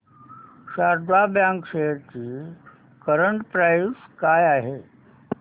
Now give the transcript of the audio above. Sharda bank shares ची current price काय आहे